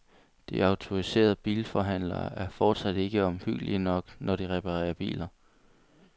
De autoriserede bilforhandlere er fortsat ikke omhyggelige nok, når de reparerer biler.